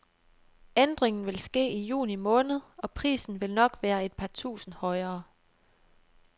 Ændringen vil ske i juni måned og prisen vil nok være et par tusinde højere.